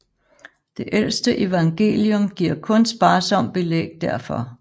Det ældste evangelium giver kun sparsom belæg derfor